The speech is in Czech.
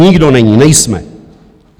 Nikdo není, nejsme.